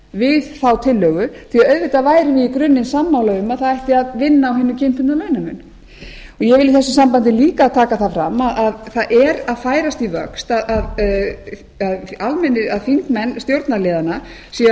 við þá tillögu því að auðvitað væri ég í grunninn sammála um að það ætti að vinna á hinum kynbundna launamun ég vil í þessu sambandi líka taka það fram að það er að færast í vöxt að þingmenn stjórnarliðanna séu að biðja okkur stjórnarandstöðuþingmenn að